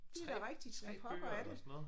Det da rigtigt hvad pokker er det